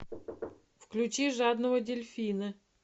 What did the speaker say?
включи жадного дельфина